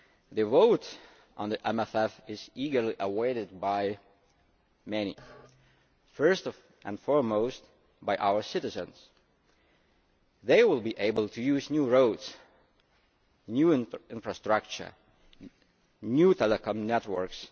The vote on the MFF is eagerly awaited by many, and first and foremost by our citizens. They will be able to use new roads, new infrastructure and new telecoms networks